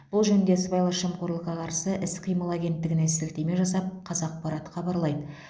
бұл жөнінде сыбайлас жемқорлыққа қарсы іс қимыл агенттігіне сілтеме жасап қазақпарат хабарлайды